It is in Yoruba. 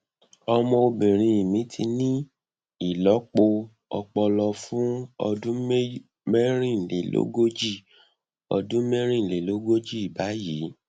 ọmọbìnrin mi ti ní ìlọpo ọpọlọ fún ọdún mẹrìnlélógójì ọdún mẹrìnlélógójì báyìí